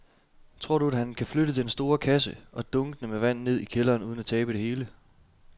Tror du, at han kan flytte den store kasse og dunkene med vand ned i kælderen uden at tabe det hele?